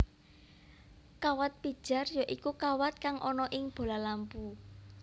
Kawat pijar ya iku kawat kang ana ing bola lampu